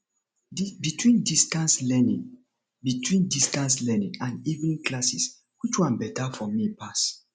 between distance learning between distance learning and evening classes which one better for me pass